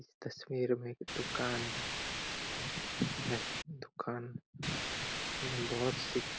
इस तस्वीर में एक दुकान है दुकान में बहोत सी--